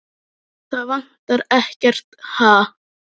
Það vantar ekkert, ha?